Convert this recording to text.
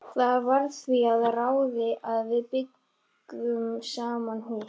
Faðir stráksins deyr, hafið gleypir hann og skilar aldrei aftur.